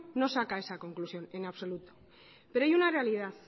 no saca esa conclusión en absoluto pero hay una realidad